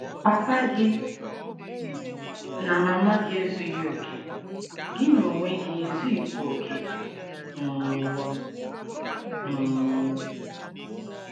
Papa gị na mama gị ezughị okè. Gị onwe gị ezughịkwa okè um. um